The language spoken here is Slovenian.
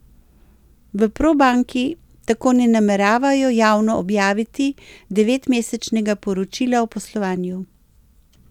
V Probanki tako ne nameravajo javno objaviti devetmesečnega poročila o poslovanju.